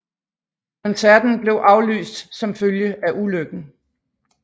Koncerten blev aflyst som følge af ulykken